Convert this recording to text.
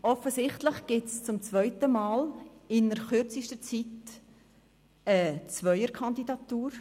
Offensichtlich gibt es zum zweiten Mal innert kürzester Zeit eine Zweierkandidatur.